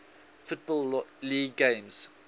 football league games